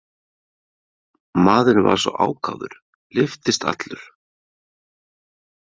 Maðurinn var svo ákafur, lyftist allur.